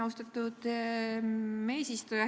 Austatud eesistuja!